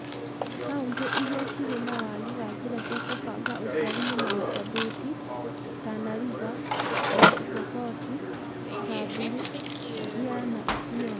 Kauntĩ iria cirĩ na wagi wa njĩra cia kũbanga ũciari nĩ marsabit, tana river, West Pokot, Samburu, Siaya na Isiolo